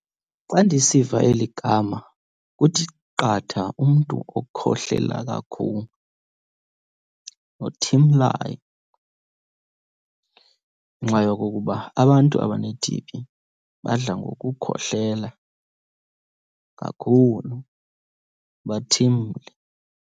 Xa ndisiva eli gama kuthi qatha umntu okhohlela kakhulu nothimlayo, ngenxa yokokuba abantu abane-T_B badla ngokukhohlela kakhulu, bathimle.